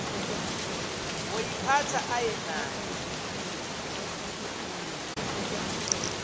woyiphatha aye nayo